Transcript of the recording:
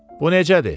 Bu necədir?